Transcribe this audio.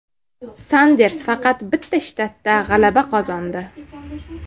Sanders faqat bitta shtatda g‘alaba qozondi.